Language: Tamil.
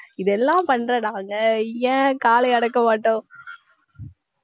இதெல்லாம் பண்ற நாங்க ஏன் காளையை அடக்க மாட்டோம்